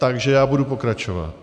Takže já budu pokračovat.